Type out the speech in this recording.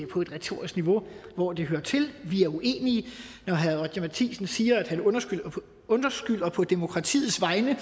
på et retorisk niveau hvor det hører til vi er uenige når herre roger courage matthisen siger at han undskylder på demokratiets vegne